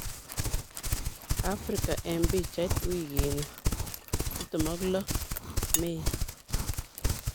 Afrika eng pichait wikini ;26 Mei